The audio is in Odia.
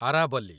ଆରାବଲି